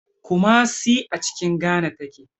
Kumasi a cikin Ghana take.